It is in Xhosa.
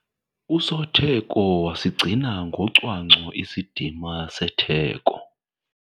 Usotheko wasigcina ngocwangco isidima setheko.